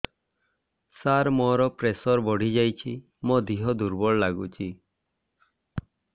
ସାର ମୋର ପ୍ରେସର ବଢ଼ିଯାଇଛି ମୋ ଦିହ ଦୁର୍ବଳ ଲାଗୁଚି